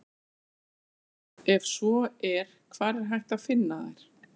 ef svo er hvar er hægt að finna þær